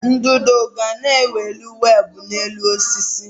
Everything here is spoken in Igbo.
Ududo ga na-ewuli weebụ n'elu osisi.